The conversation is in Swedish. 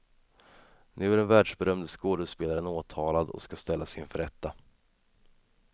Nu är den världsberömde skådespelaren åtalad och ska ställas inför rätta.